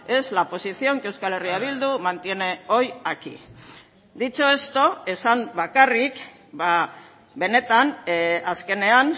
es la posición que euskal herria bildu mantiene hoy aquí dicho esto esan bakarrik benetan azkenean